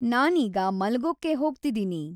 ನಾನೀಗ ಮಲಗೋಕ್ಕೆ ಹೋಗ್ತಿದೀನಿ